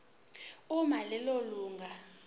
uma lelo lunga